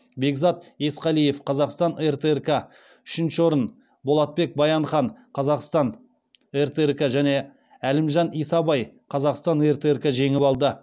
бекзат есқалиев үшінші орынды болатбек баянхан және әлімжан исабай жеңіп алды